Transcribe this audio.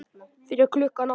Fyrir klukkan átta?